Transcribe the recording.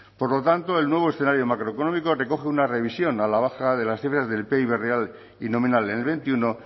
por lo tanto el nuevo escenario macroeconómico recoge una revisión a la baja de las cifras del pib real y nominal en el veintiuno